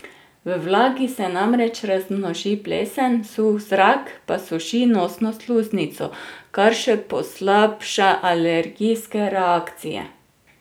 V vlagi se namreč razmnoži plesen, suh zrak, pa suši nosno sluznico, kar še poslabša alergijske reakcije.